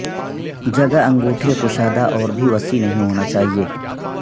جگہ انگوٹھے کشادہ اور بھی وسیع نہیں ہونا چاہئے